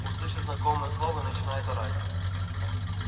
услышит знакомое слово и начинает орать